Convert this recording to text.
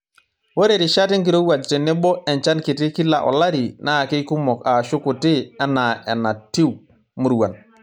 Ore rishat enkirowuaj tenebo enchan kiti kila olari naa keikumok aashu kuti enaa enatui muruan.